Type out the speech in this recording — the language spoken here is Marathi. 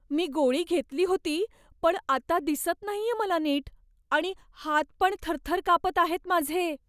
मी गोळी घेतली होती पण आता दिसत नाहीये मला नीट आणि हात पण थरथर कापत आहेत माझे.